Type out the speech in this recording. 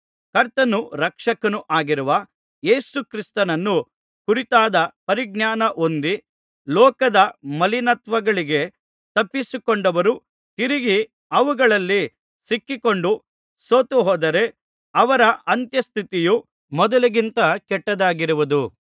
ಕರ್ತನೂ ರಕ್ಷಕನೂ ಆಗಿರುವ ಯೇಸು ಕ್ರಿಸ್ತನನ್ನು ಕುರಿತಾದ ಪರಿಜ್ಞಾನಹೊಂದಿ ಲೋಕದ ಮಲಿನತ್ವಗಳಿಗೆ ತಪ್ಪಿಸಿಕೊಂಡವರು ತಿರುಗಿ ಅವುಗಳಲ್ಲಿ ಸಿಕ್ಕಿಕೊಂಡು ಸೋತುಹೋದರೆ ಅವರ ಅಂತ್ಯಸ್ಥಿತಿಯು ಮೊದಲಿಗಿಂತ ಕೆಟ್ಟದ್ದಾಗಿರುವುದು